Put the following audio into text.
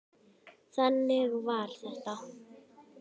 Þannig var þetta!